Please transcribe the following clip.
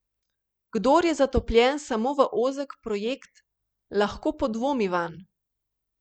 Doma namreč delam na dvanajstih računalnikih in tisto noč se nisem mogel spomniti, na katerem ga hranim, zato sem prižigal en računalnik za drugim.